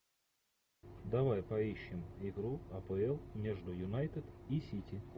давай поищем игру апл между юнайтед и сити